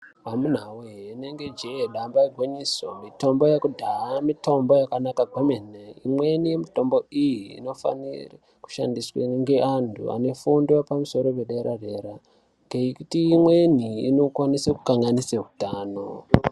Amunawe ringe jee damba igwinyiso mitombo yekudhaya mitombo yakanaka kwemene imweni yemitombo iyi inofane kushandiswe ngaeanhu ane fundo yepamusoro-paderadera ngekuti imweni inokwanise kunganise utano.